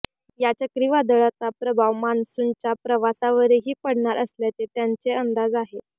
या चक्रीवादळाचा प्रभाव मान्सूनच्या प्रवासावरही पडणार असल्याचे त्यांचे अंदाज आहेत